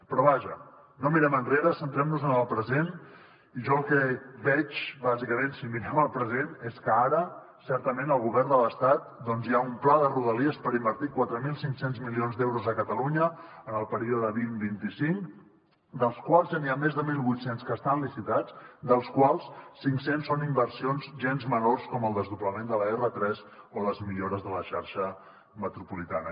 però vaja no mirem enrere centrem nos en el present i jo el que veig bàsicament si mirem el present és que ara certament al govern de l’estat doncs hi ha un pla de rodalies per invertir quatre mil cinc cents milions d’euros a catalunya en el període vint vint cinc dels quals ja n’hi ha més de mil vuit cents que estan licitats dels quals cinc cents són inversions gens menors com el desdoblament de l’r3 o les millores de la xarxa metropolitana